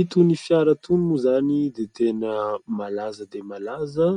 Itony fiara itony moa izany dia tena malaza dia malaza